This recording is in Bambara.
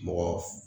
Mɔgɔ